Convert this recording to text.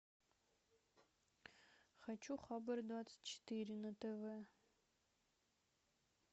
хочу хабар двадцать четыре на тв